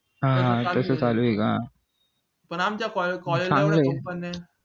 हा तसं चालू ये का पण आमच्या college